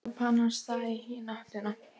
Svo hljóp hann af stað í hina áttina.